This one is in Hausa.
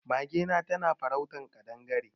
Magena na farautar kaɗangare.